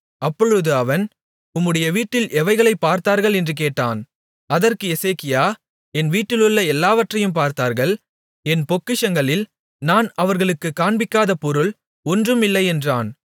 அப்பொழுது அவன் உம்முடைய வீட்டில் எவைகளைப் பார்த்தார்கள் என்று கேட்டான் அதற்கு எசேக்கியா என் வீட்டிலுள்ள எல்லாவற்றையும் பார்த்தார்கள் என் பொக்கிஷங்களில் நான் அவர்களுக்குக் காண்பிக்காத பொருள் ஒன்றும் இல்லை என்றான்